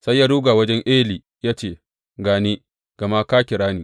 Sai ya ruga wajen Eli ya ce, Ga ni, gama ka kira ni.